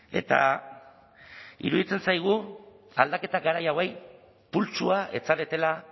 eta iruditzen zaigu aldaketa garai hauei pultsua ez zaretela